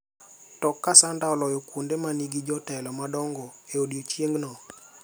to ka Sanders oloyo kuonde ma nigi jotelo madongo e odiechieng’no,